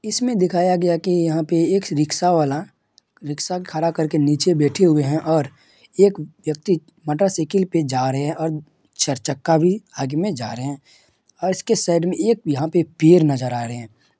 इसमें दिखया गया की यहाँ पे एक रिक्शा वाला रिक्शा खड़ा करके नीचे बैठे हुए है और एक व्यक्ति मोटरसाइकिल पे जा रहे है और चरचक्का भी आगे में जा रहे है और इसके साइड ने एक यहां पे पेड़ नजर आ रहे है।